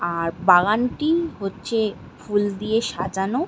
আর বাগানটি হচ্ছে ফুল দিয়ে সাজানো।